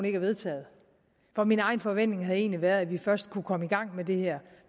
ikke er vedtaget for min egen forventning har egentlig været at vi først kunne komme i gang med det her